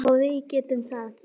Og við getum það.